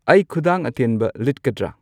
ꯑꯩ ꯈꯨꯗꯥꯡ ꯑꯇꯦꯟꯕ ꯂꯤꯠꯀꯗ꯭ꯔ